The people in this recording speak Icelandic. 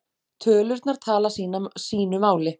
Tölurnar tala sínu máli